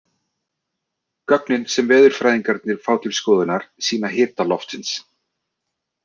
Gögnin sem veðurfræðingarnir fá til skoðunar sýna hita loftsins.